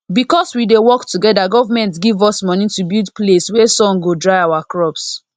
because we dey work together government give us money to build place wey sun go dry our crops